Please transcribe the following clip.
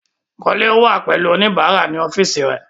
Kole wà pẹ̀lú oníbàárà ní ọ́fíìsì rẹẹ̀.